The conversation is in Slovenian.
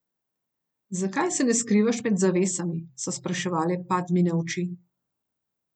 Zakaj se ne skrivaš med zavesami, so spraševale Padmine oči.